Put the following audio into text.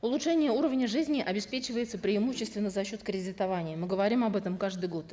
улучшение уровня жизни обеспечивается преимущественно за счет кредитования мы говорим об этом каждый год